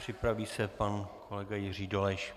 Připraví se pan kolega Jiří Dolejš.